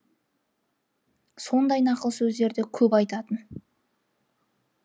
сондай нақыл сөздерді көп айтатын